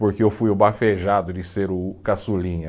Porque eu fui o bafejado de ser o caçulinha.